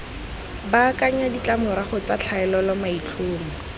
baakanya ditlamorago tsa tlhaolele maitlhomo